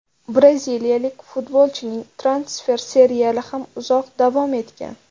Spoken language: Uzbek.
Braziliyalik futbolchining transfer seriali ham uzoq davom etgan.